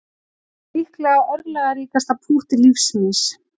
Líklega örlagaríkasta pútt lífs míns